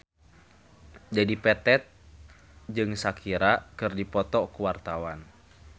Dedi Petet jeung Shakira keur dipoto ku wartawan